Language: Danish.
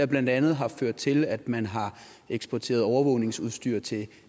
blandt andet har ført til at man har eksporteret overvågningsudstyr til